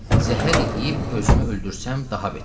Zəhər yeyib özümü öldürsəm daha betər.